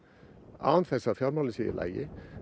án þess að í fjármálin séu í lagi